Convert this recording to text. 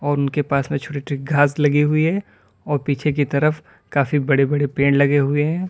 और उनके पास में छोटे छोटे घास लगी हुई है और पीछे की तरफ काफी बड़े बड़े पेड़ लगे हुए हैं।